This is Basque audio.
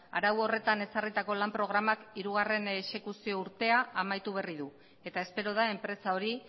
arau horretan ezarritako lan programak hirugarren exekuzio urtea amaitu berri du eta espero da enpresa hori